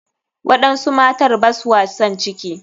Waɗansu matar baswa san ciki.